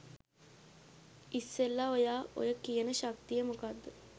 ඉස්සෙල්ලා ඔයා ඔය කියන ශක්තිය මොකක්ද